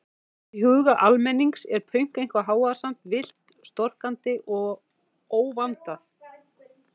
Í huga almennings er pönk eitthvað hávaðasamt, villt, storkandi og óvandað.